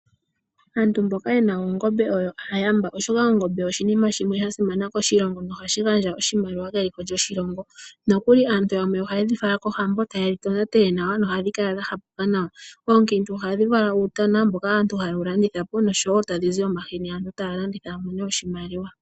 Aantu mboka yena oongombe oyo aayamba, oshoka oongombe oshinima shimwe sha simana koshilongo no hashi gandja oshimaliwa keliko lyoshilongo. Nokuli aantu yamwe oha yedhi fala kohambo ta yedhi tonatele nawa no hadhi kala dha hapa. Oonkiintu ohadhi vala uutana mboka aantu ha yewu landitha po nosho wo tadhi zi omahini aantu taya landitha ya mone oshimaliwa.